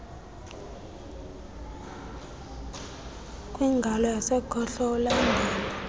kwingalo yasekhohlo ulandele